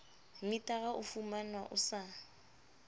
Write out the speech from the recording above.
metara o fumanwa o sa